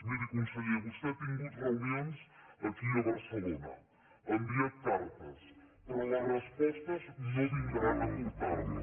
miri conseller vostè ha tingut reunions aquí a barcelona ha enviat cartes però les respostes no vindran a portar les hi